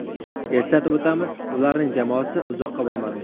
Eslatib o‘tamiz, ularning jamoasi uzoqqa bormadi.